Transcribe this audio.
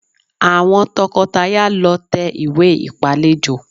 Àwọn tọkọtaya lọ tẹ ìwé ìpálejò